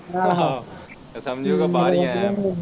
ਆਹੋ ਤੇ ਸਮਝੂਗਾ ਬਾਹਰ ਈ ਆਇਆ ਮੈ